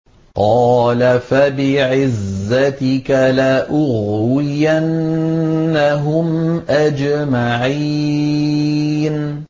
قَالَ فَبِعِزَّتِكَ لَأُغْوِيَنَّهُمْ أَجْمَعِينَ